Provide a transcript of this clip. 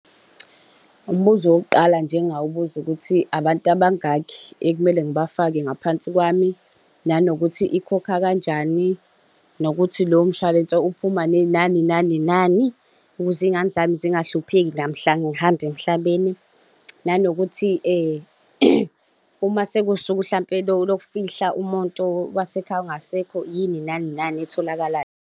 Umbuzo wokuqala nje engawubuza ukuthi abantu abangakhi ekumele ngibafake ngaphansi kwami, nanokuthi ikhokha kanjani. Nokuthi lowo mshwalense uphuma nani nani nani. Ukuze iy'ngane zami zingahlupheki namhla ngihamba emhlabeni, nanokuthi uma sekuwusuku mhlampe lokufihla umuntu wasekhaya ongasekho yini nani nani etholakalayo.